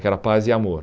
Que era a paz e o amor.